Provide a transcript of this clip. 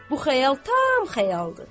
Bu xəyal tam xəyaldır.